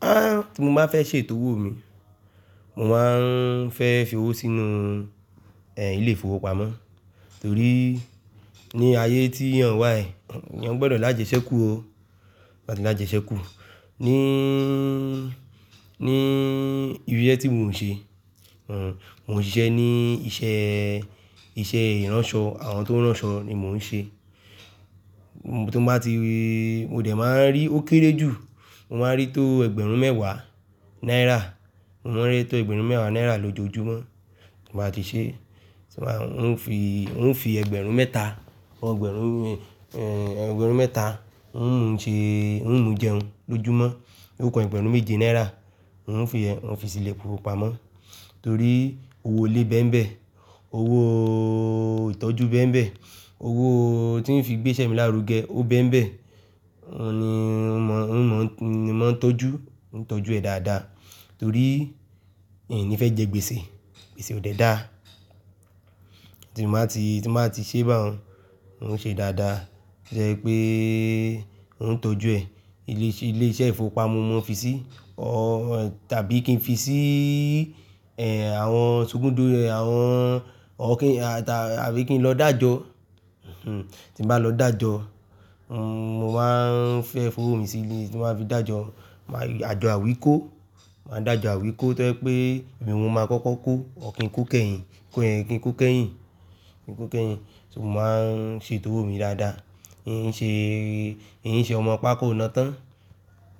Áà tí mo bá fẹ́ ṣe tówó mi, mo máa ń fẹ́ fi owó sínú, ẹ́, ilé ìfowópamọ́ torí ní ayé tí a ń wà yìí, eyan gbọdọ̀ lájẹṣẹ́kù o, lájẹṣẹ́kù. Níí, ní irú iṣẹ́ tí mò ń ṣe, òun, mò ń ṣiṣẹ́ ní iṣẹ́, iṣẹ́ ìránṣọ, àwọn tó ń ránṣọ ni mò ń ṣe. Mo tó bá ti, mo dẹ̀ máa ń rí ó kéré jù, mo máa ń rí tó ẹgbẹ̀rún mẹ́wàá náírà, mo máa ń rí tó ẹgbẹ̀rún mẹ́wàá náírà lójoojúmọ́ tí màá ti ṣe. Ṣé màá, ń fi, ń fi ẹgbẹ̀rún mẹ́ta, ọgbẹ̀rún, ẹ́, ẹgbẹ̀rún mẹ́ta, ń ṣe, ń mú jẹun lójúmọ́, ó ku ẹgbẹ̀rún méje náírà. Ń fi yen, ń fi sí ilé ìfowópamọ́ torí owó lé bẹ́mbẹ́, owó ìtọ́jú bẹ́mbẹ́, owó tí ń fi gbé iṣẹ́ mi lárugẹ o bẹ́mbẹ́. Ó ní, ń mọ, ń mọ, ni mò ń tọ́jú, ń tọ́jú ẹ̀ dáadáa torí n ni fẹ́ jẹ gbèsè, gbèsè ò dẹ dá. Tí mo bá ti, tí mo bá ti ṣẹ́bà un, ń ṣe dáadáa. Torí pé ó ń tọ́jú ẹ̀. Ilé ise, ilé iṣẹ́ ìfowópamọ́ mo mo n fi sí tàbí kí n fi síi, àwọn sogundo, àwọn or kín, ta tàbí kí n lọ dàjọ. Tí n bà lọ dàjọ, mo máa ń fẹ́ fowó mi sí ilé tí màá fi dàjọ. Màá n ajò àwíkó, màá n dàjọ àwíkó to je pé èmi n mo máa kọ́kọ́ kó, or kín kó kẹ́yìn, kó kín kó kẹ́yìn, kín kó kẹ́yìn. So mo máa ń ṣetó owó mi dáadáa. N n ṣe, n n ṣe ọmọ pá kóo nà tán,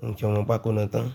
n n ṣe ọmọ pá kóo nà tán.